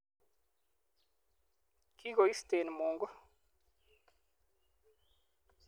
kikoisten Mungu.